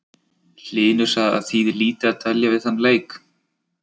Hlynur sagði að það þýði lítið að dvelja við þann leik.